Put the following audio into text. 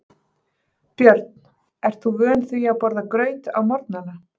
Björn: Ert þú vön því að borða graut á morgnanna?